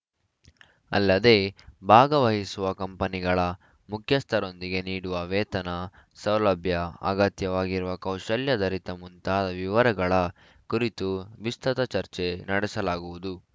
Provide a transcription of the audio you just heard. ಅಲ್ಲದೇ ಭಾಗವಹಿಸುವ ಕಂಪನಿಗಳ ಮುಖ್ಯಸ್ಥರೊಂದಿಗೆ ನೀಡುವ ವೇತನ ಸೌಲಭ್ಯ ಅಗತ್ಯವಾಗಿರುವ ಕೌಶಲ್ಯಾಧರಿತ ಮುಂತಾದ ವಿವರಗಳ ಕುರಿತು ವಿಸ್ತೃತ ಚರ್ಚೆ ನಡೆಸಲಾಗುವುದು